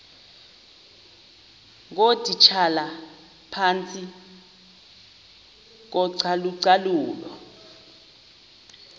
ngootitshala phantsi kocalucalulo